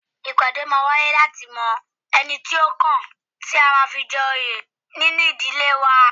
Ìpàdé máa wáyé láti mọ ẹni tí ó kàn tí a máa fi jẹ òye nínu ìdílé wa